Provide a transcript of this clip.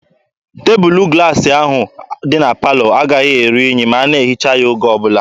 Tebụlụ glaasị ahụ dị na palọ agaghị eru unyi ma a na-ehicha ya oge ọbụla.